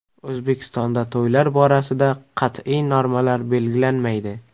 O‘zbekistonda to‘ylar borasida qat’iy normalar belgilanmaydi.